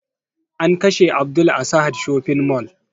An kashe abdul a sahad shopping mall